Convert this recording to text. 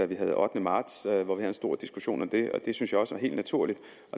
vi havde ottende marts og hvor vi havde en stor diskussion om det og det synes jeg også er helt naturligt